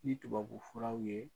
Ni tubabu furaw ye